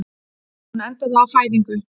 Hún endaði á fæðingu.